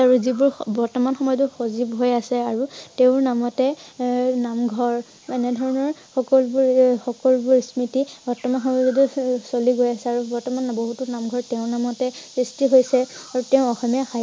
আৰু যিবোৰ বৰ্তমান সময়টো সজীৱ হৈ আছে আৰু তেওঁৰ নামতে এ এৰ নামঘৰ এনেধৰণৰ সকলো বোৰ~সকলো বোৰ স্মৃতি চলি গৈ আছে আৰু বৰ্তমান নামঘৰটো তেওঁৰ নামতে সৃষ্টি হৈছে আৰু তেওঁ অসমীয়া